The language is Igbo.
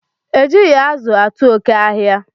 E jighi azu atu oke ahia